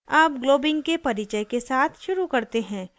अब globbing के परिचय के साथ शुरू करते हैं